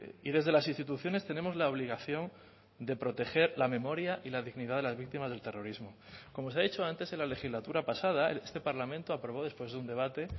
y desde las instituciones tenemos la obligación de proteger la memoria y la dignidad de las víctimas del terrorismo como se ha dicho antes en la legislatura pasada este parlamento aprobó después de un debate